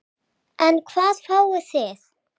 En hvað fáið þið?